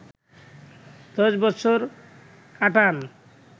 ১০ বছর কাটান